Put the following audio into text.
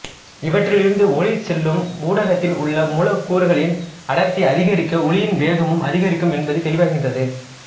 இவற்றிலிருந்து ஒலி செல்லும் ஊடகத்தில் உள்ள மூலக்கூறுகளின் அடர்த்தி அதிகரிக்க ஒலியின் வேகமும் அதிகரிக்கும் என்பது தெளிவாகின்றது